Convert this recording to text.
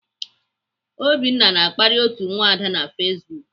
Obinna na-akparị otu nwada na Facebook.